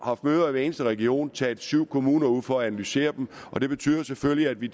haft møder i hver eneste region taget syv kommuner ud for at analysere dem og det betyder selvfølgelig at vi